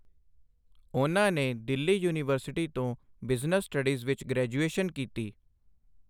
ਉਨ੍ਹਾਂ ਨੇ ਦਿੱਲੀ ਯੂਨੀਵਰਸਿਟੀ ਤੋਂ ਬਿਜ਼ਨਸ ਸਟੱਡੀਜ਼ ਵਿੱਚ ਗ੍ਰੈਜੂਏਸ਼ਨ ਕੀਤੀ।